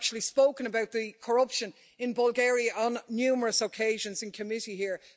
I've actually spoken about the corruption in Bulgaria on numerous occasions in committee here.